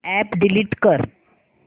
app delete कर